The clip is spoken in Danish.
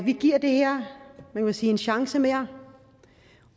vi giver det her en chance mere